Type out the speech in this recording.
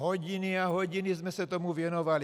Hodiny a hodiny jsme se tomu věnovali.